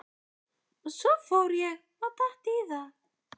Svo ég fór og datt í það.